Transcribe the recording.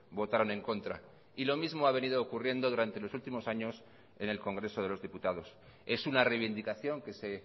votaron en contra y lo mismo ha venido ocurriendo durante los últimos años en el congreso de los diputados es una reivindicación que se